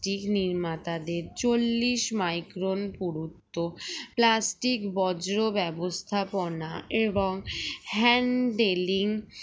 টি নির্মাতাদের চল্লিশ micron পুরুত্ব plastic বর্জ্য ব্যবস্থাপনা এবং handelling